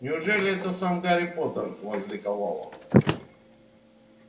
неужели это сам гарри поттер возликовал он